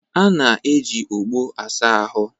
A na-eji ogbo asa ahụ